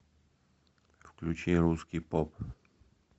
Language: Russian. включи русский поп